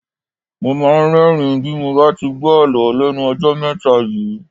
Mo máa ń rẹ́ẹ̀rín bí mo bá ti gbó Àlọ́ lẹ́nu ọjọ́ mẹ́ta yìí.